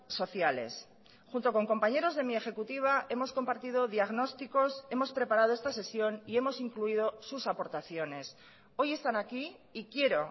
sociales junto con compañeros de mi ejecutiva hemos compartido diagnósticos hemos preparado esta sesión y hemos incluido sus aportaciones hoy están aquí y quiero